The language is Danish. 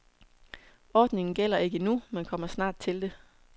Ordningen gælder ikke endnu, men kommer snart til det.